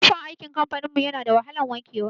Tufan aikin kamfanin mu yana da wahalan wanke wa.